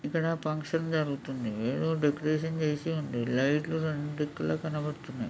ఇక్కడ ఫంక్షన్ తిరు.గుతుంది. ఏదో డెకరేషన్ చేసి ఉంది. లైట్ లు రెండు దిక్కుల కనబడతున్నాయి.